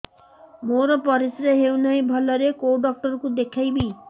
ମୋର ପରିଶ୍ରା ହଉନାହିଁ ଭଲରେ କୋଉ ଡକ୍ଟର କୁ ଦେଖେଇବି